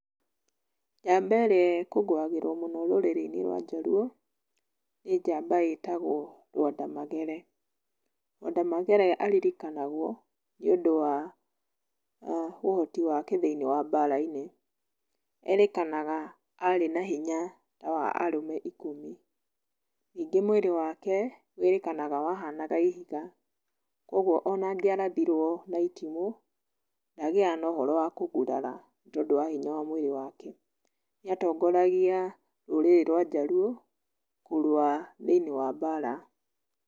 Njamba ĩrĩa ĩkũngũagĩrwo mũno rũrĩrĩ-inĩ rwa Jaluo, nĩ njamba ĩtagwo Lwanda Magere. Lwanda Magere aririkanagwo nĩũndũ wa ũhoti wake thĩini wa mbara-inĩ. Erĩkanaga arĩ na hinya wa arũme ikũmi. Ningĩ mwĩrĩ wake wĩrĩkanaga wahanaga ihiga. Ũguo ona angĩarathirwo na itimũ, ndagĩaga na ũhoro wa kũgurara, tondu wa hinya wa mwĩrĩ wake. Nĩatongoragia rũrĩrĩ rwa Jaluo kũrũa thĩini wa mbara.